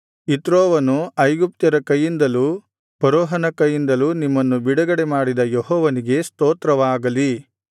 ಇತ್ರೋವನು ಐಗುಪ್ತ್ಯರ ಕೈಯಿಂದಲೂ ಫರೋಹನ ಕೈಯಿಂದಲೂ ನಿಮ್ಮನ್ನು ಬಿಡುಗಡೆ ಮಾಡಿದ ಯೆಹೋವನಿಗೆ ಸ್ತೋತ್ರವಾಗಲಿ